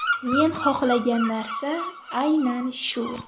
Men xohlagan narsa aynan shu.